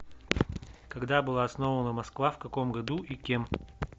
когда была основана москва в каком году и кем